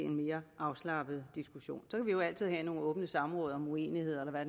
mere afslappet diskussion så kan vi jo altid have nogle åbne samråd om uenighederne og